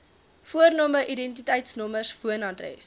voorname identiteitsnommer woonadres